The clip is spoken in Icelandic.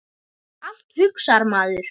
Allt, hugsar maður.